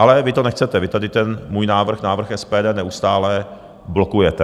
Ale vy to nechcete, vy tady ten můj návrh, návrh SPD, neustále blokujete.